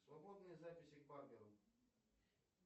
свободные записи к барберу